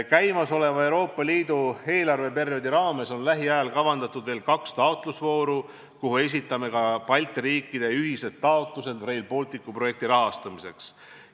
Käimasoleva Euroopa Liidu eelarveperioodi raames on lähiajal kavandatud veel kaks taotlusvooru, kuhu esitame ka Balti riikide ühised taotlused Rail Balticu projekti rahastamiseks.